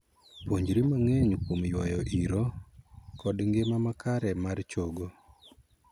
Puonjri mang'eny kuom yuayo iro kod ngima makare mar chogo.